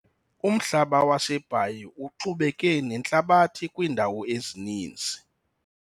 Umhlaba waseBhayi uxubeke nentlabathi kwiindawo ezininzi.